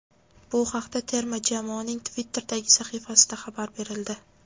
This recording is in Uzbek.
Bu haqda terma jamoaning Twitter’dagi sahifasida xabar berildi.